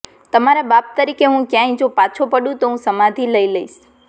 તમારા બાપ તરીકે હું ક્યાંય જો પાછો પડું તો હું સમાધિ લઈ લઈશ